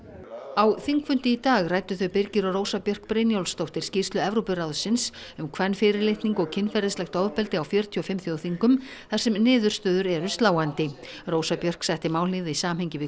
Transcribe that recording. á þingfundi í dag ræddu þau Birgir og Rósa Björk Brynjólfsdóttir skýrslu Evrópuráðsins um kvenfyrirlitningu og kynferðislegt ofbeldi á fjörutíu og fimm þjóðþingum þar sem niðurstöður eru sláandi rósa Björk setti málið í samhengi við